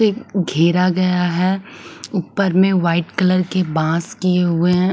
से घेरा गया है ऊपर में वाइट कलर के बाँस किए हुए हैं।